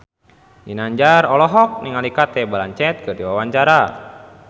Ginanjar olohok ningali Cate Blanchett keur diwawancara